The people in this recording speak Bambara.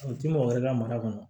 O ti mɔgɔ wɛrɛ ka mara kɔnɔ